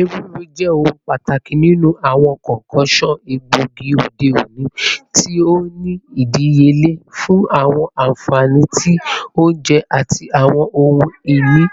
Ewuro, jẹ ohun pataki ninu awọn concoctions egboigi ode oni, ti o ni idiyele fun awọn anfani ti ounjẹ ati awọn ohun-ini